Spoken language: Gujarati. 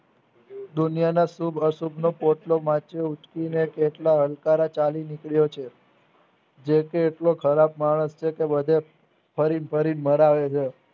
દુનિયાના શુભ અશુભ નો પોટલો ઉંચકીને હલકારા ચાલી નીકળે છે જેતે એટલો સરાફા માણસ તેટલો બધો ફરીન ફરીન મરાવે છે